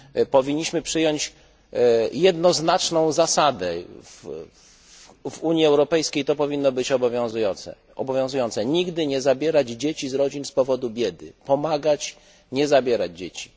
Powinniśmy przyjąć jednoznaczną zasadę w Unii Europejskiej powinno być to obowiązujące nigdy nie zabierać dzieci z rodzin z powodu biedy, pomagać, nie zabierać dzieci.